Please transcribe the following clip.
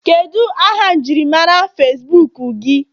Kedu aha njirimara Facibuku gị?